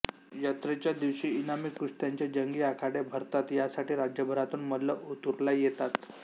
यात्रेच्या दिवशी इनामी कुस्त्यांचे जंगी आखाडे भरतात यासाठी राज्यभरातून मल्ल ओतूरला येतात